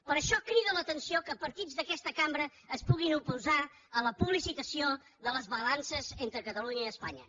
per això crida l’atenció que partits d’aquesta cambra es puguin oposar a la publicitació de les balances entre catalunya i espanya